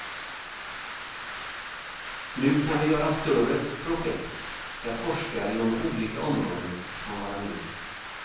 Nu kan vi göra större projekt där forskare inom olika områden kan vara med.